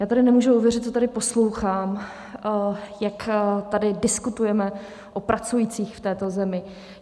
Já tady nemůžu uvěřit, co tady poslouchám, jak tady diskutujeme o pracujících v této zemi.